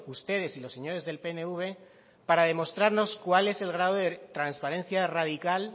ustedes y los señores del pnv para demostrarnos cuál es el grado de transparencia radical